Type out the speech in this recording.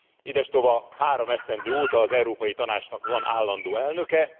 Idestova három esztendő óta az Európai Tanácsnak van állandó elnöke.